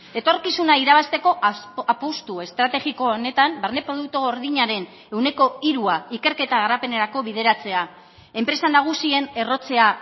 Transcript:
etorkizuna irabazteko apustu estrategiko honetan barne produktu gordinaren ehuneko hirua ikerketa garapenerako bideratzea enpresa nagusien errotzea